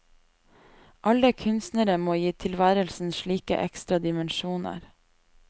Alle kunstnere må gi tilværelsen slike ekstra dimensjoner.